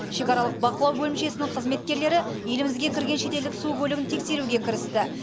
шекаралық бақылау бөлімшесінің қызметкерлері елімізге кірген шетелдік су көлігін тексеруге кірісті